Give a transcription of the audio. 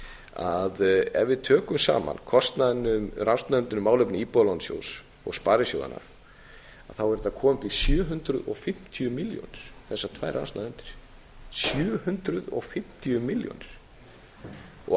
að ef við tökum saman kostnaðinn um rannsóknarnefndina um málefni íbúðalánasjóðs og sparisjóðanna er þetta komið upp í sjö hundruð og fimmtíu milljónir þessar tvær rannsóknarnefndir sjö hundruð og fimmtíu milljónir ástæðan